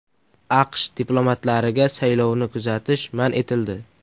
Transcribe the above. AQSH diplomatlariga saylovni kuzatish man etildi.